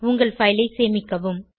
உங்கள் பைல் ஐ சேமிக்கவும்